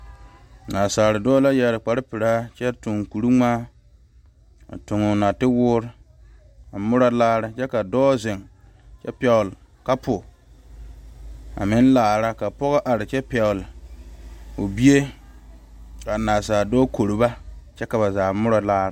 Naasaal dɔɔ la yeere kpare pelaa kyɛ tuŋ kuri ŋmaa a tuŋ o naate Wɔɔre a moɔre laare kyɛ ka dɔɔ zeŋ kyɛ pegle kapu a meŋ laare ka pɔge are kyɛ pegle o bie kaa naasaal dɔɔ kore ba ka ba zaa moɔro laare.